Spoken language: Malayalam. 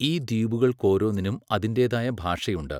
ഈ ദ്വീപുകൾക്കോരോന്നിനും അതിന്റേതായ ഭാഷയുണ്ട്.